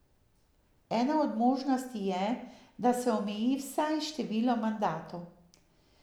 Ena od možnosti je, da se omeji vsaj število mandatov.